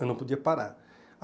Eu não podia parar.